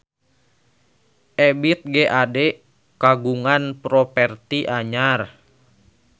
Ebith G. Ade kagungan properti anyar